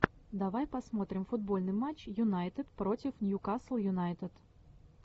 давай посмотрим футбольный матч юнайтед против ньюкасл юнайтед